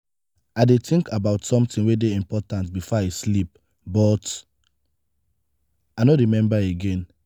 i dey think about something wey dey important before i sleep but i no remember again.